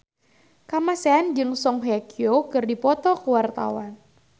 Kamasean jeung Song Hye Kyo keur dipoto ku wartawan